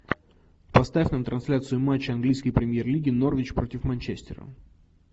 поставь нам трансляцию матча английской премьер лиги норвич против манчестера